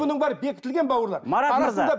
бұның бәрі бекітілген бауырлар марат мырза